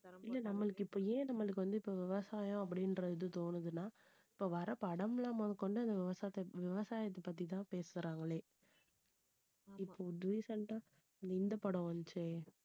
இல்லை நம்மளுக்கு இப்ப ஏன் நம்மளுக்கு வந்து இப்ப விவசாயம் அப்படின்ற இது தோணுதுன்னா இப்ப வர்ற படம் எல்லாம் முதற்கொண்டு இந்த விவசாயத்தை விவசாயத்தைப் பத்திதான் பேசுறாங்களே இப்போ recent ஆ இந்த படம் வந்துச்சே